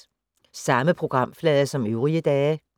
Samme programflade som øvrige dage